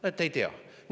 Näete, ei tea!